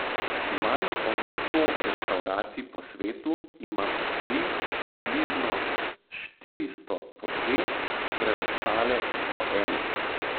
Manj od sto restavracij po svetu ima po tri, približno štiristo po dve, preostale po eno.